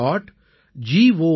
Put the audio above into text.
in